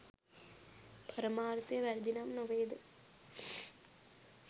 පරමාර්ථය වැරදිනම් නොවේද?